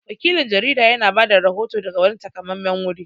Wakilin jarida ya na bada rahoto daga wani taƙamammen wuri